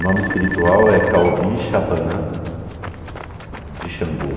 O nome espiritual é Kaobi Chapanã de Xangô.